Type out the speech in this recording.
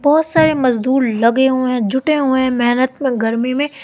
बहोत सारे मजदूर लगे हुए जुटे हुए मेहनत गर्मी में--